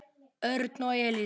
Örn og Elísa.